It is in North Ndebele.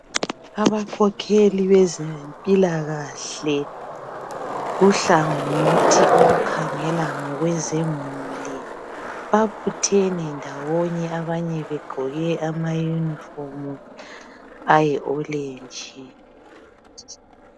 Abakhokheli bezempilakahle okukhangela ngemuli babuthene ndawonye abanye begqoke amaYunifomu ayi olenji